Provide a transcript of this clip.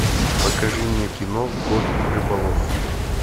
покажи мне кино кот рыболов